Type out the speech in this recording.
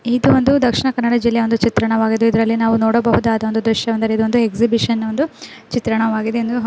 ಇದು ಒಂದು ದಕ್ಷಿಣ ಕನ್ನಡ ಜಿಲ್ಲೆಯ ಒಂದು ಚಿತ್ರಣವಾಗಿದೆ ಇದರಲ್ಲಿ ನಾವು ನೋಡಿಸಬಹುದಾದ ದೃಶ್ಯವೆಂದರೆ ಇದೊಂದು ಎಕ್ಸಿಬಿಷನ್ ನ ಒಂದು ಚಿತ್ರಣವಾಗಿದೆ ಎಂದು--